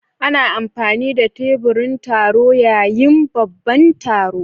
Ana amfani da teburin taro yayin babban taro.